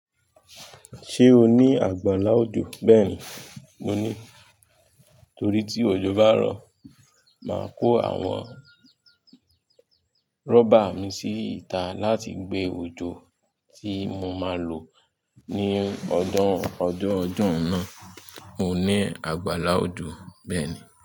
Ṣé o ní àgbàlá òjò bẹ́ẹ̀ni mo ní torí tí òjò bá rọ̀, máa kó àwọn rọ́bà mi sí ìta láti gbé òjò tí mo máa lò ní ọdún ọdún ọdún náà. Mo ní àgbàlá òjò bẹ́ẹ̀ni.